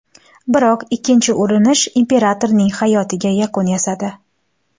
Biroq ikkinchi urinish imperatorning hayotiga yakun yasadi.